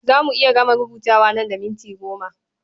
Za mu iya gama rubutun nan da minti goma.